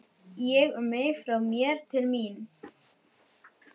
Ég, um mig, frá mér, til mín.